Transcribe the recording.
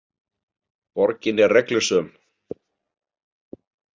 Borgin er reglusöm.